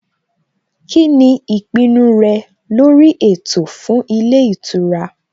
Kíni ìpinnu rẹ lórí ètò fún ilé ìtura?